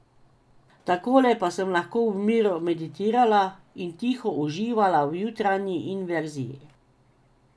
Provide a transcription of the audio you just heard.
Takole pa sem lahko v miru meditirala in tiho uživala v jutranji inverziji.